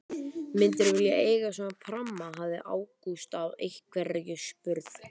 Myndirðu vilja eiga svona pramma? hafði Ágúst einhverju sinni spurt.